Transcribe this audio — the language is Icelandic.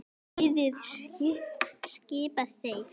Liðið skipa þeir